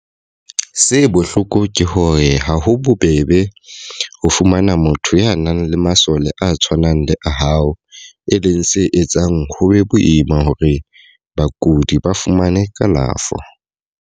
Se bohloko ke hore ha ho bobebe ho fumana motho ya nang le masole a tshwanang le a hao, e leng se etsang ho be boima hore bakudi ba fumane kalafo.